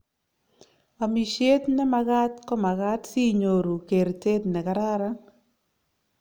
amisyet ne magat komagat si inyoru keertet ne kararan